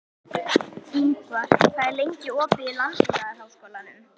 Ingvar, hvað er lengi opið í Landbúnaðarháskólanum?